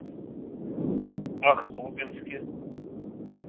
ахтубинске